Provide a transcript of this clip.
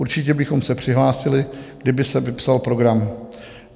Určitě bychom se přihlásili, kdyby se vypsal program.